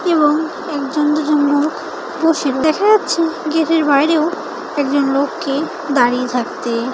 এবং একজন দুজন লোকবসে দেখা যাচ্ছে গেটের বাইরেও একজন লোককে দাঁড়িয়ে থাকতে--